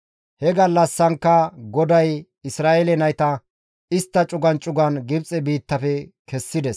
He gallassankka GODAY Isra7eele nayta istta cugan cugan Gibxe biittafe kessides.